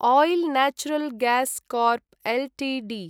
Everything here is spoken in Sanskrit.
isle natural gas corp Ltd